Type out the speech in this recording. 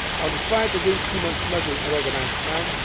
the fight against human smuggling and organised